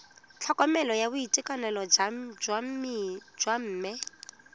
tlhokomelo ya boitekanelo jwa bomme